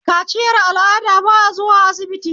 Kaciyar al'ada ba a zuwa sibiti